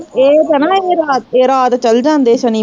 ਏਹ ਤਾਂ ਨਾ, ਏਹ ਰਾਤ ਚੱਲ ਜਾਂਦੇ ਸ਼ਨੀਵਾਰ